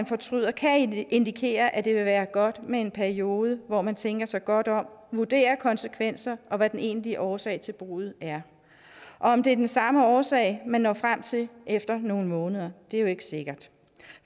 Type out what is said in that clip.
fortryder kan indikere at det vil være godt med en periode hvor man tænker sig godt om vurderer konsekvenserne og hvad den egentlige årsag til bruddet er og om det er den samme årsag man når frem til efter nogle måneder er jo ikke sikkert